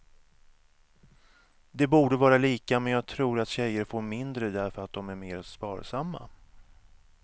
Det borde vara lika men jag tror att tjejer får mindre därför att de är mer sparsamma.